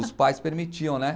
Os pais permitiam, né?